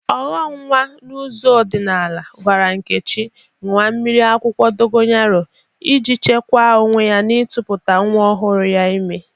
Ọghọ nwa n'ụzọ ọdịnaala gwara Nkechi ñụwa miri akwụkwọ dogoyaro ije chekwa onwe n'ịtụkputa nwa ọhụrụ ya ime.